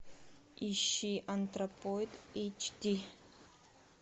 ищи антропоид эйч ди